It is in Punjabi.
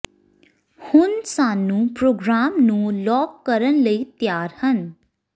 ਹੁਣ ਸਾਨੂੰ ਪ੍ਰੋਗਰਾਮ ਨੂੰ ਲਾਕ ਕਰਨ ਲਈ ਤਿਆਰ ਹਨ